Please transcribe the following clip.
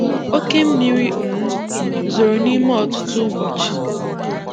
Òkè mmiri um zòrò nime ọtụtụ ụbọchị.